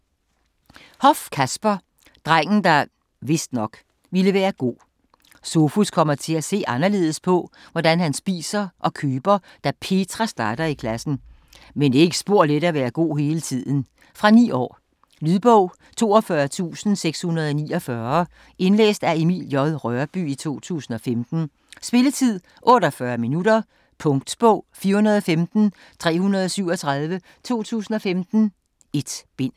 Hoff, Kasper: Drengen, der (vist nok) ville være god Sofus kommer til at se anderledes på, hvad han spiser og køber, da Petra starter i klassen. Men det er ikke spor let at være god hele tiden. Fra 9 år. Lydbog 42649 Indlæst af Emil J. Rørbye, 2015. Spilletid: 0 timer, 48 minutter. Punktbog 415337 2015. 1 bind.